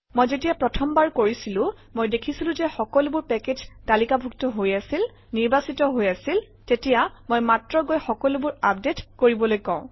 মই যেতিয়া প্ৰথমবাৰ কৰিছিলো মই দেখিছিলো যে সকলোবোৰ পেকেজ তালিকাভুক্ত হৈ আছিল নিৰ্বাচিত হৈ আছিল তেতিয়া মই মাত্ৰ গৈ সকলোবোৰ আপডেট কৰিবলৈ কওঁ